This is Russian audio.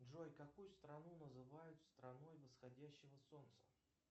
джой какую страну называют страной восходящего солнца